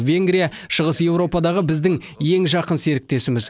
венгрия шығыс еуропадағы біздің ең жақын серіктесіміз